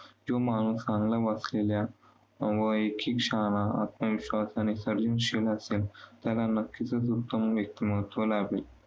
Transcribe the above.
जो माणूस चांगलं वाचलेल्या आत्मविश्वास आणि सर्जनशील नक्कीच उत्तम व्यक्तिमत्व लाभेल.